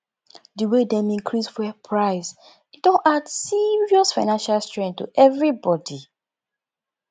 di way dem increase fuel price e don add serious financial strain to everybodi